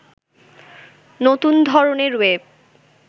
নতুন ধরনের ওয়েব